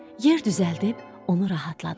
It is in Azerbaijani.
Yer düzəldib onu rahatladılar.